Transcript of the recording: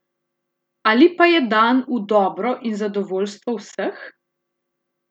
Ali pa je dan v dobro in zadovoljstvo vseh?